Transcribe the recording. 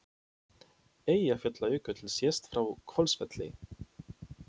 Eyjafjallajökull sést frá Hvolsvelli.